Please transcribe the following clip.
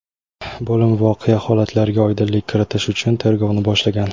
Bo‘lim voqea holatlariga oydinlik kiritish uchun tergovni boshlagan.